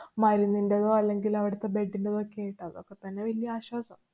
മരുന്നിന്‍റേതോ, അല്ലെങ്കില്‍ അവിടത്തെ bed ന്‍റെതൊക്കെയിട്ട്. അതൊക്കെ തന്നെ വല്യ ആശ്വാസം.